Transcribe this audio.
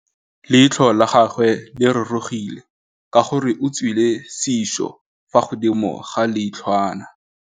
Leitlhô la gagwe le rurugile ka gore o tswile sisô fa godimo ga leitlhwana.